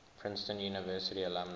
princeton university alumni